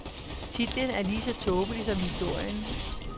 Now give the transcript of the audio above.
Titlen er lige så tåbelig som historien.